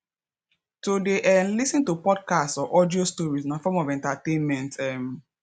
to de um lis ten to podcasts or audio stories na form of entertainment um